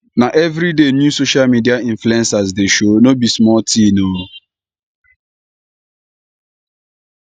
na everyday new social media influencers dey show no be small tin o